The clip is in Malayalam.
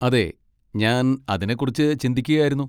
അതെ, ഞാൻ അതിനെക്കുറിച്ച് ചിന്തിക്കുകയായിരുന്നു.